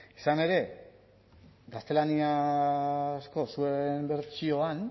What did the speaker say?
izan ere gaztelaniazko zuen bertsioan